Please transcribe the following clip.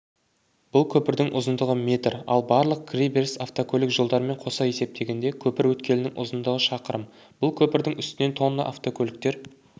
бұл көпірдың ұзындығы метр ал барлық кіре беріс автокөлік жолдарымен қоса есептегенде көіп өткелінің ұзындығы шақырым бұл көпірдің үстінен тонна автокөліктер